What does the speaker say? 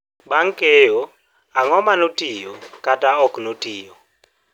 bang'-keyo ang'o manotiyo kata oknotiyo?